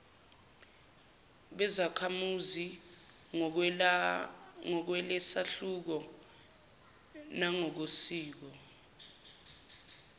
bezakhamuzi ngokwalesahluko nangokosiko